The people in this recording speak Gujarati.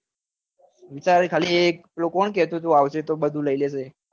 વિચાર એ ખાલી એ કોણ કેતુ તું એ આવશે તો બધું લઇ લેશે